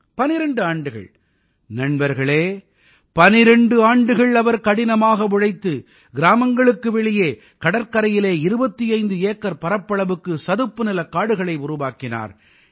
12 ஆண்டுகள் நண்பர்களே 12 ஆண்டுகள் அவர் கடினமாக உழைத்து கிராமங்களுக்கு வெளியே கடற்கரையிலே 25 ஏக்கர் பரப்பளவுக்கு சதுப்புநிலக் காடுகளை உருவாக்கினார்